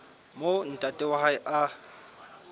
moo ntate wa hae a